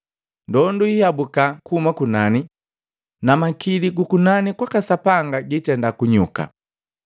Ndondu hiabuka kuhuma kunani, namakili gukunani kwaka Sapanga gitenda kunyuka.